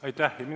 Aitäh!